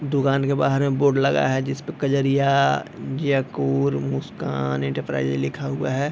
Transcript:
दुकान के बाहर में बोर्ड लगा है जिसपे कजरिया जियाकुर मुस्कान इन्टरप्राईजेज लिखा हुआ है।